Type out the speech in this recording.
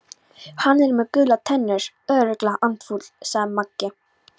Hann er með gular tennur, örugglega andfúll sagði Magga.